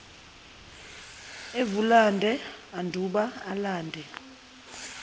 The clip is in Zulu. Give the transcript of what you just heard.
evulande anduba alande